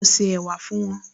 Mo se ẹ̀wà fún wọn